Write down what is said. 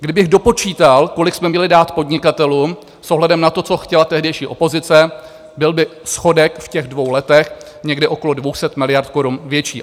Kdybych dopočítal, kolik jsme měli dát podnikatelům s ohledem na to, co chtěla tehdejší opozice, byl by schodek v těch dvou letech někde okolo 200 miliard korun větší.